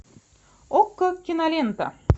окко кинолента